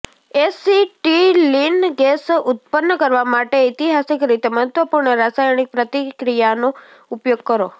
acetylene gas ઉત્પન્ન કરવા માટે ઐતિહાસિક રીતે મહત્વપૂર્ણ રાસાયણિક પ્રતિક્રિયાનો ઉપયોગ કરો